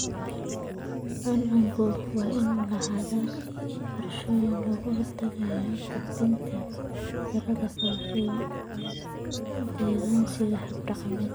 Cuncunku waa inuu lahaadaa qorshooyin looga hortagayo gudbinta cudurrada faafa iyadoo la adeegsanayo habab dhaqameed.